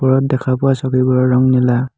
ওপৰত দেখা পোৱা চকীবোৰৰ ৰং নীলা।